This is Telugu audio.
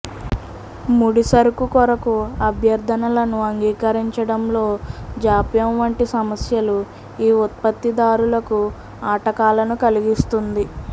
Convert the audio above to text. ముడిసరకు కొరకు అభ్యర్ధనలను అంగీకరించడంలో జాప్యం వంటి సమస్యలు ఈ ఉత్పత్తిదారులకు ఆటకాలను కలిగిస్తుంది